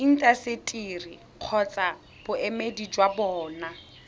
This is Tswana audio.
intaseteri kgotsa boemedi jwa bona